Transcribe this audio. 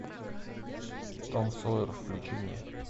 том сойер включи мне